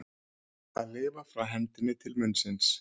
Að lifa frá hendinni til munnsins